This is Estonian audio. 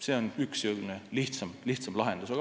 See on üks lihtsam lahendus.